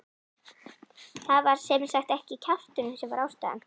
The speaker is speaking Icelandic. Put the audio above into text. Það var sem sagt ekki kjafturinn sem var ástæðan.